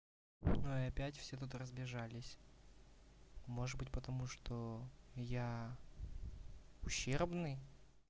ну и опять все тут разбежались может быть потому что я ущербный